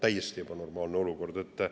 Täiesti ebanormaalne olukord!